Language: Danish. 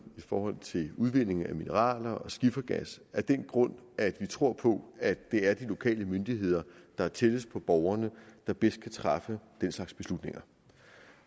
i forhold til udvinding af mineraler og skifergas af den grund at vi tror på at det er de lokale myndigheder der er tættest på borgerne der bedst kan træffe den slags beslutninger